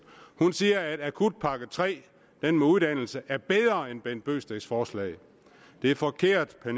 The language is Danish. hun siger at akutpakke tre den med uddannelse er bedre end herre bent bøgsteds forslag det er forkert vil